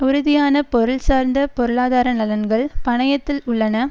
உறுதியான பொருள்சார்ந்த பொருளாதார நலன்கள் பணயத்தில் உள்ளன